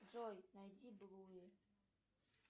джой найди блуи